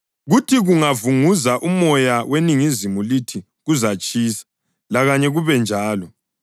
Kuthi kungavunguza umoya weningizimu lithi, ‘Kuzatshisa,’ lakanye kube njalo.